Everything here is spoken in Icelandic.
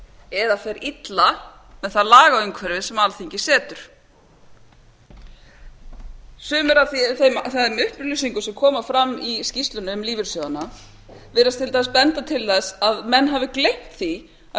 eða fer illa með það lagaumhverfi sem alþingi setur sumar af þeim upplýsingum sem koma fram í skýrslunni um lífeyrissjóðina virðast til dæmis benda til þess að menn hafi gleymt því að